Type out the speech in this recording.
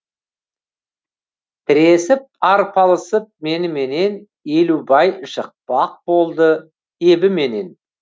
тіресіп арпалысып меніменен елубай жықпақ болды ебіменен